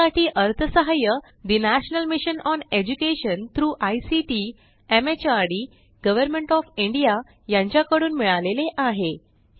यासाठी अर्थसहाय्य the national mission on education through ICT MHRD government of India यांच्याकडून मिळालेले आहे